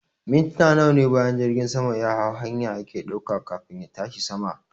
Mintina nawane bayan jirgin sama yahau hanya yake ɗauka kafin ya tashi sama